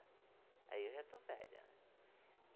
Aí eu já estou velha.